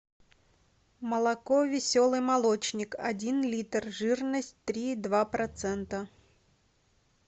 молоко веселый молочник один литр жирность три и два процента